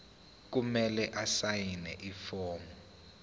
kumele asayine ifomu